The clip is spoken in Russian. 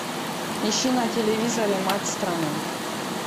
ищи на телевизоре матч страна